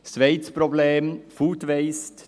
Das zweite Problem: Food-Waste.